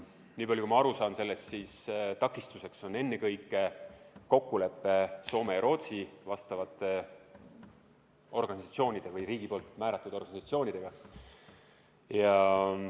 Nii palju kui ma sellest aru saan, siis takistuseks on ennekõike kokkulepe Soome ja Rootsi vastavate organisatsioonidega või riigi poolt määratud organisatsioonidega.